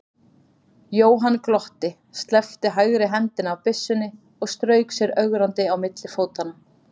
Jóhann glotti, sleppti hægri hendinni af byssunni og strauk sér ögrandi á milli fótanna.